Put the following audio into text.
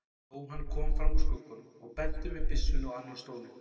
Jóhann kom fram úr skugganum og benti með byssunni á annan stólinn.